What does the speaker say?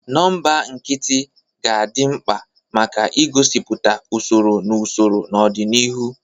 Nọmba nkịtị ga-adị mkpa maka igosipụta usoro na usoro n'ọdịniihu.